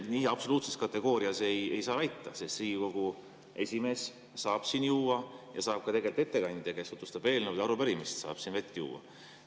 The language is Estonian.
Nii absoluutses kategoorias ei saa seda väita, sest Riigikogu esimees saab siin juua ja saab ka ettekandja, kes tutvustab eelnõu ja arupärimist, vett juua.